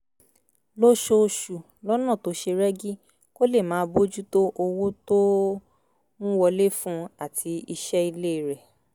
lóṣooṣù lọ́nà tó ṣe rẹ́gí kó lè máa bójú tó owó tó ń wọlé fún un àti iṣẹ́ ilé rẹ̀